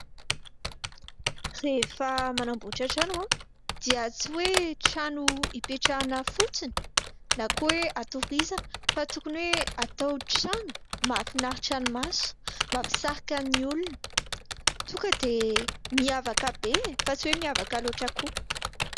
Rehefa manamboatra trano dia tsy hoe trano hipetrahana fotsiny na koa hoe hatorizana fa tokony hoe hatao trano mahafinaritra ny maso, mampisarika ny olona, tonga dia miavaka be ; fa tsy hoe miavaka loatra koa.